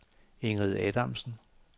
Ingrid Adamsen